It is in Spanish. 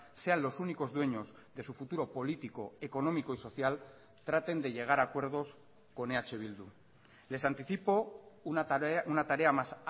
sean los únicos dueños de su futuro político económico y social traten de llegar a acuerdos con eh bildu les anticipo una tarea más